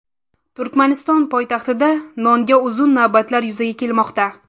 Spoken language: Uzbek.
Turkmaniston poytaxtida nonga uzun navbatlar yuzaga kelmoqda.